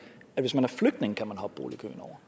at man kan hoppe boligkøen over